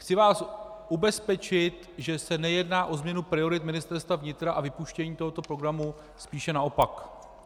Chci vás ubezpečit, že se nejedná o změnu priorit Ministerstva vnitra a vypuštění tohoto programu, spíše naopak.